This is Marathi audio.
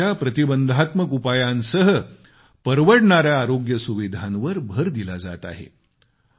आरोग्याच्या प्रतिबंधात्मक उपायांसह परवडणाऱ्या आरोग्य सुविधांवर भर दिला जात आहे